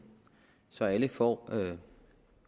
så alle får